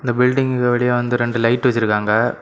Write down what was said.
இந்த பில்டிங்க்கு வெளிய வந்து ரெண்டு லைட்டு வச்சிருக்காங்க.